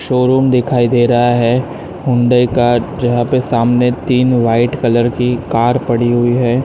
Showroom दिखाई दे रहा है हुंडई का जहां पे सामने तीन व्हाईट कलर की कार पड़ी हुई है।